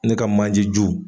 Ne ka manje ju